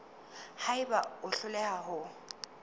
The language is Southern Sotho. ha eba o hloleha ho